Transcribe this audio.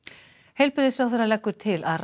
heilbrigðisráðherra leggur til að